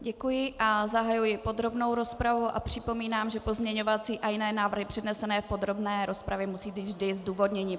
Děkuji a zahajuji podrobnou rozpravu a připomínám, že pozměňovací a jiné návrhy přednesené v podrobné rozpravě musí být vždy zdůvodněny.